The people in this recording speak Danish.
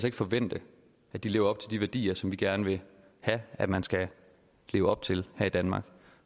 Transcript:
ikke forvente at de lever op til de værdier som vi gerne vil have at man skal leve op til her i danmark